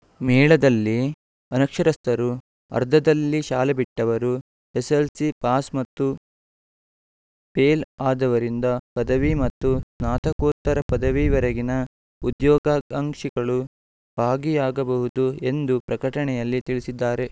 ಮೇಳದಲ್ಲಿ ಅನಕ್ಷರಸ್ಥರು ಅರ್ಧದಲ್ಲಿ ಶಾಲೆ ಬಿಟ್ಟವರು ಎಸ್ಸೆಸ್ಸೆಲ್ಸಿ ಪಾಸ್‌ ಮತ್ತು ಫೇಲ್‌ ಆದವರಿಂದ ಪದವಿ ಮತ್ತು ಸ್ನಾತಕೋತ್ತರ ಪದವಿವರೆಗಿನ ಉದ್ಯೋಗಾಕಾಂಕ್ಷಿಗಳು ಭಾಗಿಯಾಗಬಹುದು ಎಂದು ಪ್ರಕಟಣೆಯಲ್ಲಿ ತಿಳಿಸಿದ್ದಾರೆ